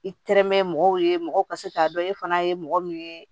I tɛrɛmɛ mɔgɔw ye mɔgɔw ka se k'a dɔn e fana ye mɔgɔ min ye